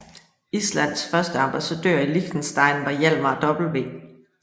Islands første ambassadør i Liechtenstein var Hjálmar W